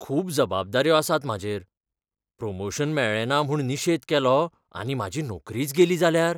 खूब जबाबदाऱ्यो आसात म्हाजेर. प्रमोशन मेळ्ळें ना म्हूण निशेध केलो आनी म्हाजी नोकरीच गेली जाल्यार?